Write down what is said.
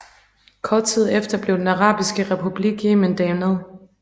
Kort tid efter blev Den arabiske republik Yemen dannet